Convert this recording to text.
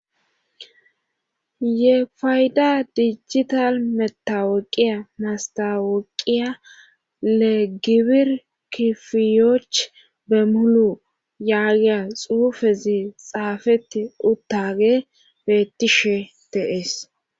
Ye fayda dijital metaweqiya mastaweqiya legibir kifiyoch bemulu yaagiya xuufezi xaafeti uttage beettishe teees.